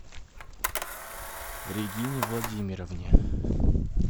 регине владимировне